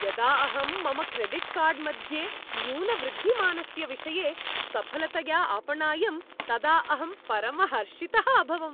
यदा अहं मम क्रेडिट् कार्ड् मध्ये न्यूनवृद्धिमानस्य विषये सफलतया अपणायं तदा अहं परमहर्षितः अभवम्।